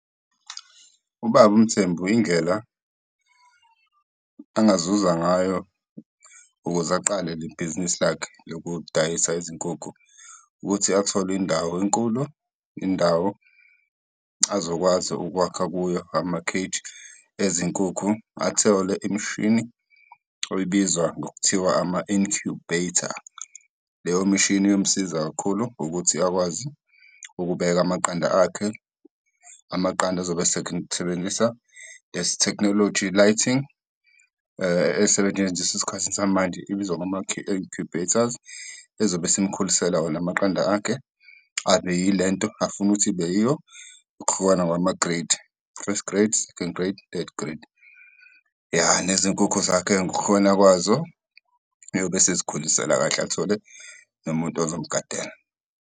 Ubaba uMthembu, indlela angazuza ngayo ukuze aqale le bhizinisi lakhe lokudayisa izinkukhu ukuthi athole indawo enkulu, indawo azokwazi ukwakha kuyo amakheji ezenkukhu, athole imishini ebizwa ngokuthiwa ama-incubator. Leyo mishini iyomsiza kakhulu ukuthi akwazi ukubeka amaqanda akhe. Amaqanda azobe esebenzisa technology lighting, esetshenziswa esikhathini samanje ibizwa ngama incubators, ezobe isimkhulisela wona amaqanda akhe abe yilento afuna ukuthi ibe yiyo, ngokuhlukana ngamagreyidi, first grade, second grade, third grade. Iya, nezinkukhu zakhe ngokuhlukana kwazo, uyobe esezikhulisela kahle, athole nomuntu ozomgadela.